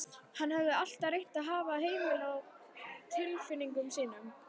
Hann hafði alltaf reynt að hafa hemil á tilfinningum sínum.